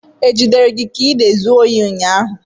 Ejidere gị ka ị na-ezu ohi ụnyahụ?